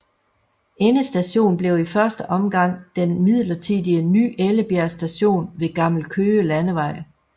Endestation blev i første omgang den midlertidige Ny Ellebjerg Station ved Gammel Køge Landevej